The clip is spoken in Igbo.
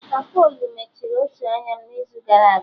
Apolo mechiri otu anya m n'izu gara aga